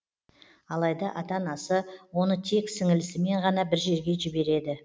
алайда ата анасы оны тек сіңілісімен ғана бір жерге жібереді